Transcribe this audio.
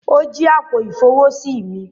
O jí àpò-ifowosi mí